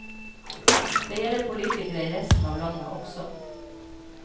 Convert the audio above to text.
Det gjelder politikere i resten av landet også.